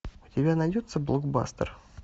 у тебя найдется блокбастер